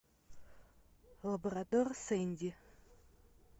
лабрадор сэнди